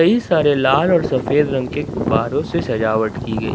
कई सारे लाल और सफेद रंग के गुब्बारों से सजावट की गई--